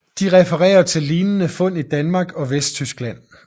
De refererer til lignende fund i Danmark og Vesttyskland